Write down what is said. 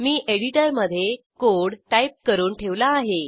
मी एडिटरमधे code type करून ठेवला आहे